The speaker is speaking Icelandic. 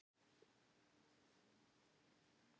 Þetta er einsog að taka fimmta sporið með löggunni